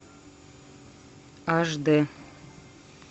аш д